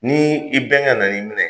N'i i bɛnkɛ nan'i minɛ,